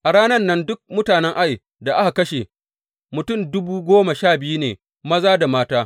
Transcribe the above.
A ranan nan, dukan mutanen Ai da aka kashe, mutum dubu goma sha biyu ne maza da mata.